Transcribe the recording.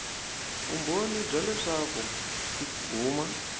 vumbhoni bya leswaku ti huma